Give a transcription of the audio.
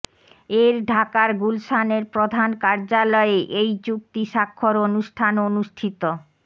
এর ঢাকার গুলশানের প্রধান কার্যালয়ে এই চুক্তি স্বাক্ষর অনুষ্ঠান অনুষ্ঠিত